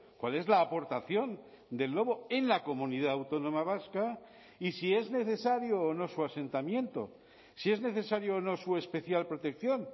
cuál es la aportación del lobo en la comunidad autónoma vasca y si es necesario o no su asentamiento si es necesario o no su especial protección